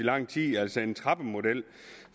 lang tid altså en trappemodel